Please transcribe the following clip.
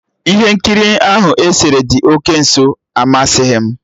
Ihe nkiri ahụ esere dị oke nso amasịghị m